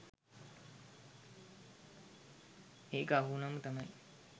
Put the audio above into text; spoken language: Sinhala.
ඒක අහුවුණාම තමයි